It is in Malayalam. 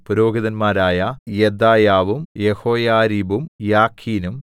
പുരോഹിതന്മാരായ യെദയാവും യെഹോയാരീബും യാഖീനും